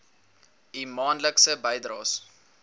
u maandelikse bydraes